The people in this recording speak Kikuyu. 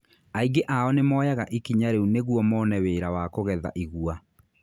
Aingĩ ao nĩ moyaga ikinya riũ nĩguo mone wĩra wa kũgetha igua.